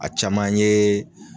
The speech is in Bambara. A caman ye